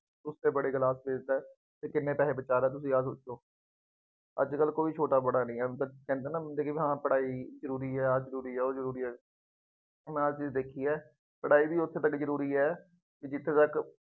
ਉਸ ਤੋਂ ਬੜੇ ਗਿਲ਼ਾਸ ਵੇਚਦਾ, ਅਤੇ ਕਿੰਨੇ ਪੈਸੇ ਬਚਾ ਲੈਂਦਾ, ਤੁਸੀਂ ਆਪ ਦੱਸੋ। ਅੱਜ ਕੱਲ੍ਹ ਕੋਈ ਛੋਟਾ ਬੜਾ ਨਹੀਂ ਹੈ। ਕਹਿੰਦੇ ਹੈ ਨਾ ਜ਼ਿੰਦਗੀ ਵਾਸਤੇ ਪੜ੍ਹਾਈ ਜ਼ਰੂਰੀ ਹੈ, ਆਹ ਜ਼ਰੂ੍ਰੀ ਹੈ, ਉਹ ਜ਼ਰੂਰੀ ਹੈ। ਹੁਣ ਮੈਂ ਆਹ ਚੀਜ਼ ਦੇਖੀ ਹੈ, ਪੜ੍ਹਾਈ ਵੀ ਉੱਥੇ ਤੱੱਕ ਜ਼ਰੂਰੀ ਹੈ, ਜਿੱਥੇ ਤੱਕ।